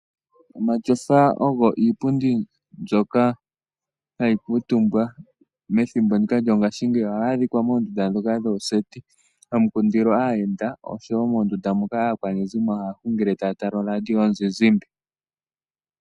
Omatyofa ogo iipundi mbyoka ha yi kuutumbwa methimbo lyongaashingeyi. Ohayi adhika moondunda ndhoka dhooseti, ha mu kundilwa aayenda, osho woo mondunda ndjoka aakwanezimo haya hungile ta ya tala oradio yomuzizimba.